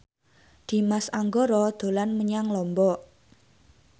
Dimas Anggara dolan menyang Lombok